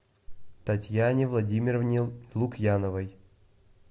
татьяне владимировне лукьяновой